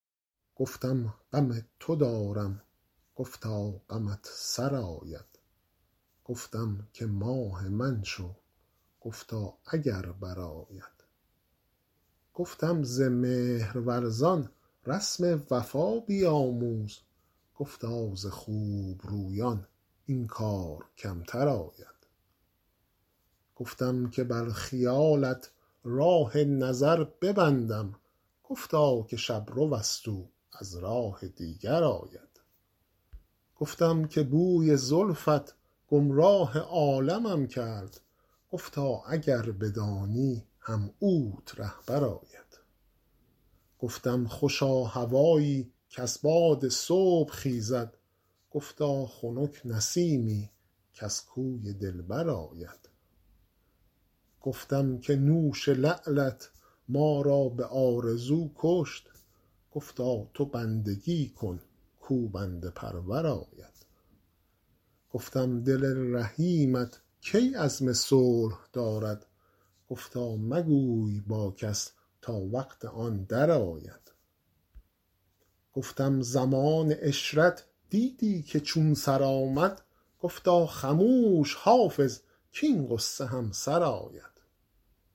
گفتم غم تو دارم گفتا غمت سرآید گفتم که ماه من شو گفتا اگر برآید گفتم ز مهرورزان رسم وفا بیاموز گفتا ز خوب رویان این کار کمتر آید گفتم که بر خیالت راه نظر ببندم گفتا که شب رو است او از راه دیگر آید گفتم که بوی زلفت گمراه عالمم کرد گفتا اگر بدانی هم اوت رهبر آید گفتم خوشا هوایی کز باد صبح خیزد گفتا خنک نسیمی کز کوی دلبر آید گفتم که نوش لعلت ما را به آرزو کشت گفتا تو بندگی کن کاو بنده پرور آید گفتم دل رحیمت کی عزم صلح دارد گفتا مگوی با کس تا وقت آن درآید گفتم زمان عشرت دیدی که چون سر آمد گفتا خموش حافظ کـاین غصه هم سر آید